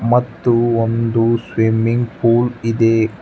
ಮತ್ತು ಒಂದು swimming pool ಇದೆ.